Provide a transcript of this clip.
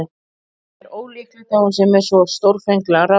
En það er ólíklegt að hún sé með svo stórfenglegar ráðagerðir.